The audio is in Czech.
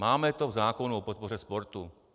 Máme to v zákonu o podpoře sportu.